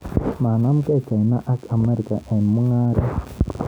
Manamgei China ak Amerika eng mung'aret.